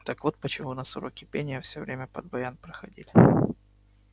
так вот почему у нас уроки пения всё время под баян проходили